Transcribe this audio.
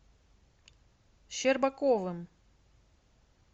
щербаковым